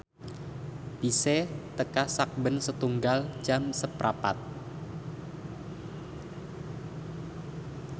bise teka sakben setunggal jam seprapat